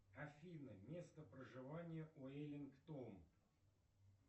афина место проживания виллингтон